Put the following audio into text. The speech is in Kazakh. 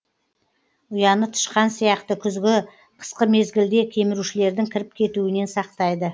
ұяны тышқан сияқты күзгі қысқы мезгілде кемірушілердің кіріп кетуінен сақтайды